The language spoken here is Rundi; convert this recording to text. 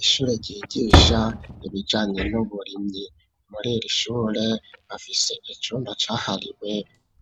Ishure ryigisha ibijanye n'uburimyi muri irishure bafise icumba cahariwe